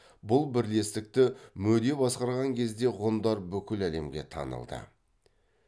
бұл бірлестікті мөде басқарған кезде ғұндар бүкіл әлемге танылды